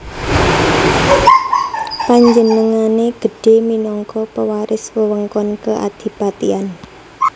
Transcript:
Panjenengané gedhé minangka pewaris wewengkon keadipatian